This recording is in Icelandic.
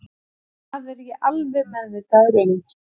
Það er ég alveg meðvitaður um